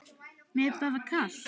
Mér er bara kalt.